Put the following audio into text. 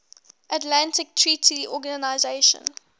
atlantic treaty organisation